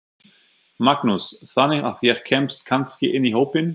Magnús: Þannig að ég kemst kannski inn í hópinn?